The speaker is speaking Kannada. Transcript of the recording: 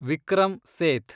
ವಿಕ್ರಮ್ ಸೇಥ್